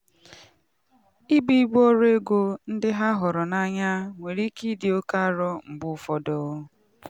ibu ibu ọrụ ego ndị ha hụrụ n'anya nwere ike ịdị oke arọ mgbe ụfọdụ.